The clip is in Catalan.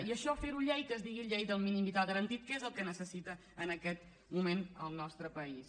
i això fer ho llei que es digui llei del mínim vital garantit que és el que necessita en aquest moment el nostre país